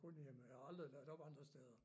Kun hjemme jeg har aldrig ladt op andre steder